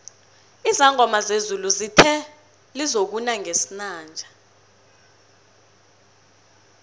izangoma zezulu zithe lizokuna ngesinanje